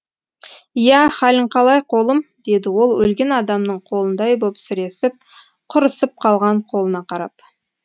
иә халің қалай қолым деді ол өлген адамның қолындай боп сіресіп құрысып қалған қолына қарап